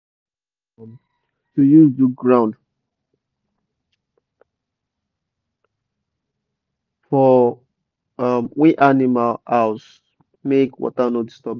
poto um poto and cement good um to use do ground for um we animal house make water no disturb them